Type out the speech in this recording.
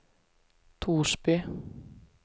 Torsby